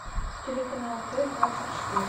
телеканал т двадцать четыре